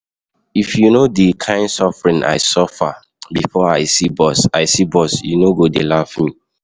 If you no the kin suffering I suffer before I see bus I see bus you no go dey laugh me